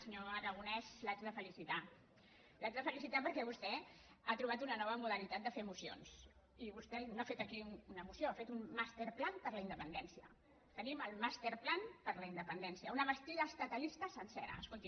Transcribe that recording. senyor aragonès l’haig de felicitar l’haig de felicitar perquè vostè ha trobat una nova modalitat de fer mocions i vostè no ha fet aquí una moció ha fet un master plan per la independència tenim el master plan per la independència una bastida estatalista sencera escolti